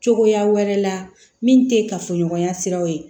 Cogoya wɛrɛ la min tɛ kafoɲɔgɔnya siraw ye